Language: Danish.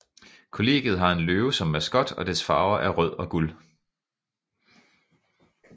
Kollegiet har en løve som maskot og dets farver er rød og guld